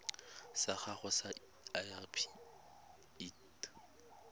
sa gago sa irp it